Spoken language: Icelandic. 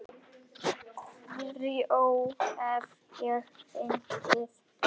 Þrjú hef ég fengið.